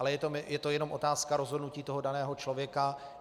Ale je to jenom otázka rozhodnutí toho daného člověka.